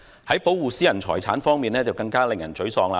在保護私人財產方面，更加令人沮喪。